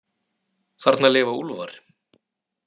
Þarna lifa úlfar.